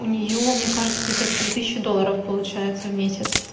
у нее мне кажется где-то три тысечи долларов получается в месяц